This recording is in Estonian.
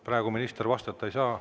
Praegu minister vastata ei saa.